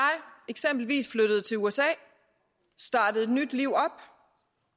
eksempelvis flyttede til usa startede et nyt liv op